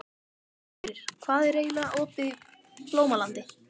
Fenrir, hvað er lengi opið í Blómalandi?